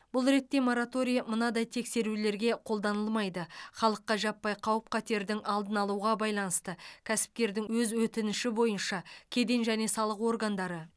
бұл ретте мораторий мынадай тексерулерге қолданылмайды халыққа жаппай қауіп қатердің алдын алуға байланысты кәсіпкердің өз өтініші бойынша кеден және салық органдары